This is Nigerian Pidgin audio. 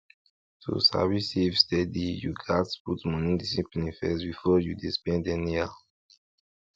to sabi save steady you gats put money discipline first before you dey spend anyhow